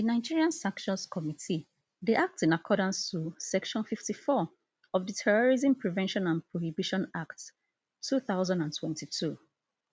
di nigeria sanctions committee dey act in accordance to section fifty-four of di terrorism prevention and prohibition act two thousand and twenty-two